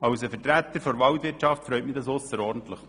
Als Vertreter der Waldwirtschaft freut mich das ausserordentlich.